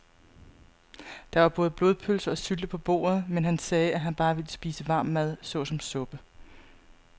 Der var både blodpølse og sylte på bordet, men han sagde, at han bare ville spise varm mad såsom suppe.